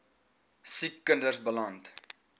siek kinders beland